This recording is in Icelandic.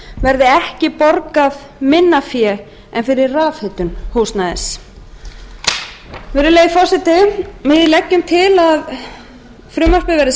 verði ekki borgað minna fé en fyrir rafhitun húsnæðis virðulegi forseti við leggjum til að frumvarpið verði